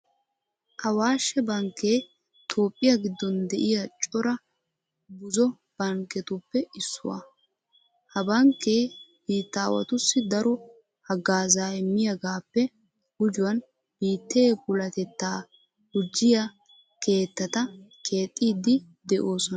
Awaashshe bankkee toophphiya giddon de'iya cora buzo bankketuppe issuwa. Ha bankkee biittaawatussi daro haggaazaa immiyigaappe gujuwan biittee puulatettaa gujjiya keettata keexxiiddi de'oosona.